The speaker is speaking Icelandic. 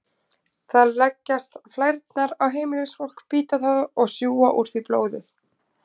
Þar leggjast flærnar á heimilisfólk, bíta það og sjúga úr því blóð.